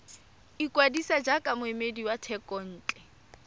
ikwadisa jaaka moemedi wa thekontle